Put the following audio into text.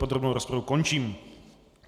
Podrobnou rozpravu končím.